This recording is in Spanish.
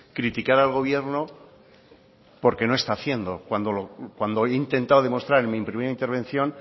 criticar al gobierno porque no está haciendo cuando he intentado demostrar en mi primera intervención